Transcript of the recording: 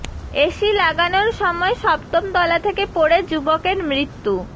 AC লাগানোর সময় সপ্তম তলা থেকে পড়ে যুবকের মৃত্যু